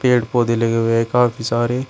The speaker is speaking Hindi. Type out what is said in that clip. पेड़ पौधे लगे हुए काफी सारे--